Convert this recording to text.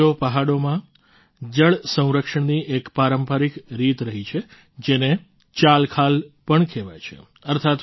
સાથીઓ પહાડોમાં જળ સંરક્ષણની એક પારંપરિક રીત રહી છે જેને ચાલખાલ પણ કહેવાય છે